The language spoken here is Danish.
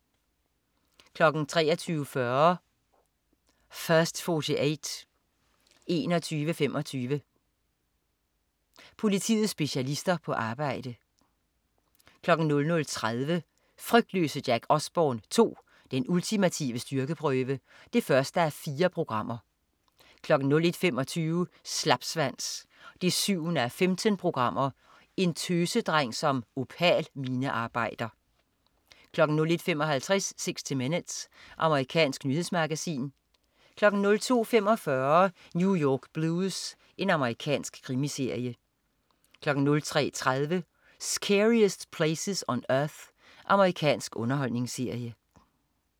23.40 First 48 21:25. Politiets specialister på arbejde 00.30 Frygtløse Jack Osbourne 2. Den ultimative styrkeprøve 1:4 01.25 Slapsvans 7:15. En tøsedreng som opal-minearbejder 01.55 60 Minutes. Amerikansk nyhedsmagasin 02.45 New York Blues. Amerikansk krimiserie 03.30 Scariest Places on Earth. Amerikansk underholdningsserie